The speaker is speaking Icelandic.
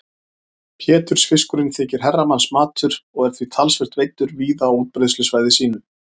Pétursfiskurinn þykir herramannsmatur og er því talsvert veiddur víða á útbreiðslusvæði sínu.